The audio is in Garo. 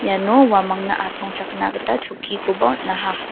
iano uamangna asongchakna gita chokkikoba on·aha.